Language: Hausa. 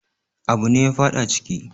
Abune ya faɗa ciki